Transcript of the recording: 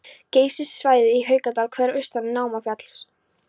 Geysissvæðið í Haukadal, Hverir austan Námafjalls